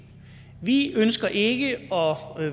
vi ønsker ikke at